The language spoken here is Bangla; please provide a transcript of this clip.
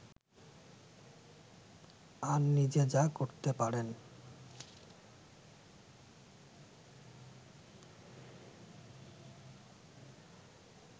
আর নিজে যা করতে পারেন